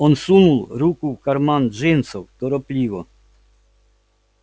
он сунул руку в карман джинсов торопливо